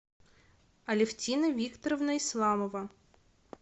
алевтина викторовна исламова